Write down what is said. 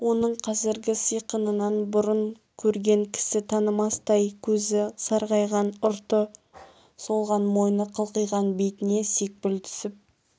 оның қазіргі сиқынан бұрын көрген кісі танымастай көзі сарғайған ұрты солған мойны қылқиған бетіне сепкіл түсіп